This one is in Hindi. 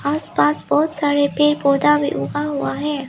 आसपास बहुत सारे पेड़ पौधा भी उगा हुआ है।